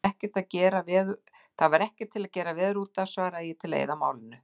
Það er ekkert til að gera veður útaf, svaraði ég til að eyða málinu.